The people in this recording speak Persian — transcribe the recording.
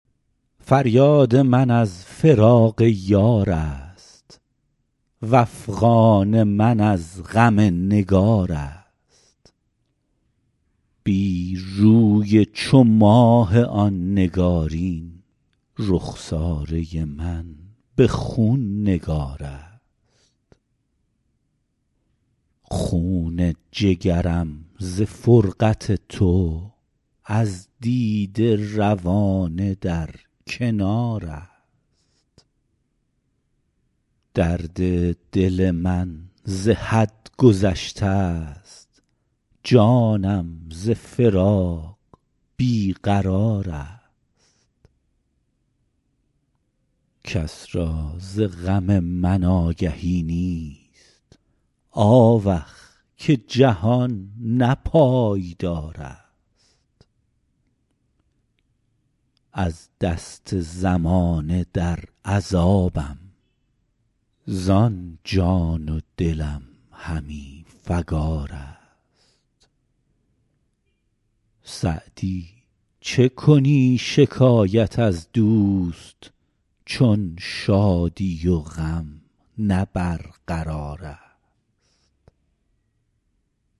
فریاد من از فراق یار است وافغان من از غم نگار است بی روی چو ماه آن نگارین رخساره من به خون نگار است خون جگرم ز فرقت تو از دیده روانه در کنار است درد دل من ز حد گذشته ست جانم ز فراق بی قرار است کس را ز غم من آگهی نیست آوخ که جهان نه پایدار است از دست زمانه در عذابم زان جان و دلم همی فکار است سعدی چه کنی شکایت از دوست چون شادی و غم نه برقرار است